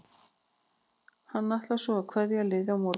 Hann ætlar svo að kveðja liðið á morgun.